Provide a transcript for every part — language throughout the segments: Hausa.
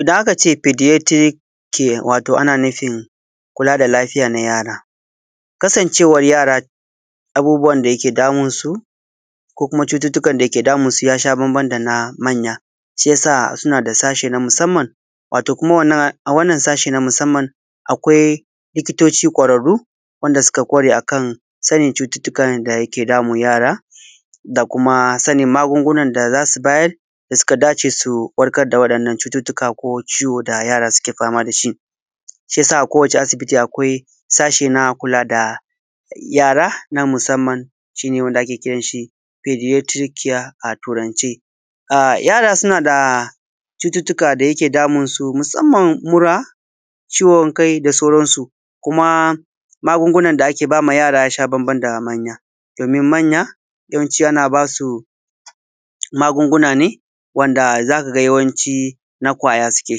Idan aka ce pediatric care wato ana nufin kula da lafiyar Yaro kasancewar yara abubuwan da yake damunsu ko kuma cututtukan da yake damunsu ya sha bamban da na manya shi ya sa suna da sashi na musamman wato kuma a wannan sashi na musamman akwai likitoci ƙwararru waɗanda suka ƙware a kan sani cututtukan da ke damun yara da kuma magunguna da za su bayar da suka dace da su warkar da waɗannan cututtukan ko ciwo da yara suke fama da shi. Shi ya sa kowacce asibiti akwai sashen na kula da yara na musamman da ake kira da pediatric care a turance. Yara suna da cututtukan da yake damun su musamman mura ciwon kai da sauransu kuma magunguna da ake ba ma yara ya sha bamban da manya, domin manya yanwanci ana ba su magunguna ne wanda za ka ga yawanci na kwaya suke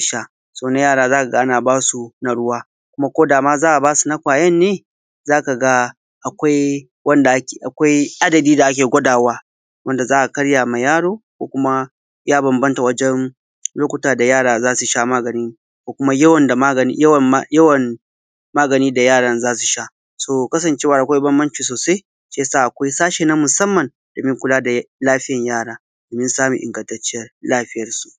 sha so na yara za ka ga ana ba su na ruwa ko da ma za a ba su na kwayar ne za ka ga akwai wanda adadi da ake gwadawa wanda za a karaya ma yaro ko kuma ya bambanta wajen lokuta da yara za su sha magani da yawan da yaran za su sha to kasancewa akwai banbanci sosai shi ya sa akwai sashen na musamman dan kula da lafiyar yara domin samun ingantaccen lafiyarsu.